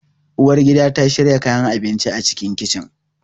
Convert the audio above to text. Uwar gida ta shiyar kayan abinci a cikin kicin